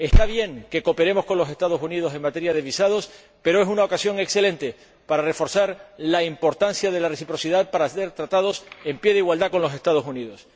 Está bien que cooperemos con los Estados Unidos en materia de visados, pero es una ocasión excelente para reforzar la importancia de la reciprocidad, para hacer tratados en pie de igualdad con los Estados Unidos.